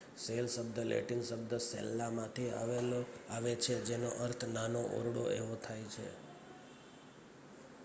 cell શબ્દ Latin શબ્દ સેલ્લામાંથી આવે છે જેનો અર્થ નાનો ઓરડો એવો થાય છે